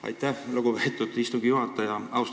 Aitäh, lugupeetud istungi juhataja!